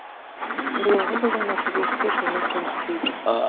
биылғы жылдың нәтижесі де көңіл көншітпейді